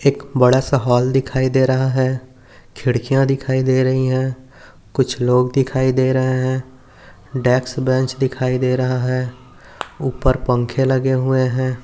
एक बड़ा सा हॉल दिखाई दे रहा है खिड्किया दिखाई दे रही है कुछ लोग दिखाई दे रहे है डेक्स बेंच दिखाई दे रहा है ऊपर पंके लगे हुए है।